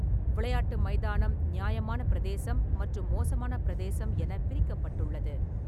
விளையாட்டு மைதானம் 'நியாயமான பிரதேசம்' மற்றும் 'மோசமான பிரதேசம்' என பிரிக்கப்பட்டுள்ளது.